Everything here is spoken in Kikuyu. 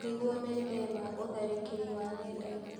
Nĩguo methema ũtharĩkĩri wa nenda-inĩ.